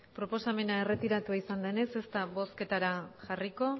proposamena erretiratu egin denez ez da bozketara jarriko